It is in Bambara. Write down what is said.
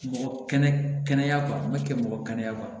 Mɔgɔ kɛnɛ kɛnɛya kɔ ma kɛ mɔgɔ kɛnɛya kɔ